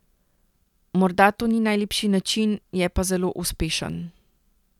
Morda to ni najlepši način, je pa zelo uspešen.